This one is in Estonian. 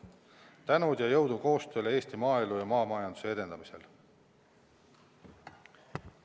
Palju tänu ja jõudu koostöös Eesti maaelu ja maamajanduse edendamisel!